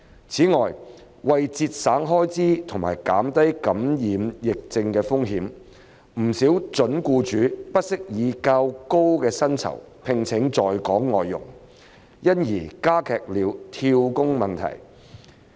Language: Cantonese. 此外，為節省開支和減低感染疫症的風險，不少準僱主不惜以較高薪酬聘請在港外傭，因而加劇了跳工問題。